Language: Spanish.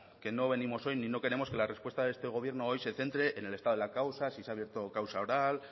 que no venimos hoy ni no queremos que la respuesta de este gobierno hoy se centre en el estado de las causas si se ha abierto causa oral